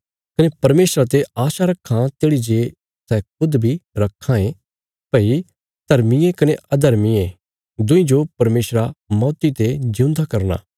कने परमेशरा ते आशा रखां तेढ़ी जे सै खुद बी रखां ये भई धर्मिये कने अधर्मिये दुईं जो परमेशरा मौती ते जिऊंदा करना